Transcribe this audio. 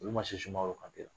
Olu man se Sumaworo ka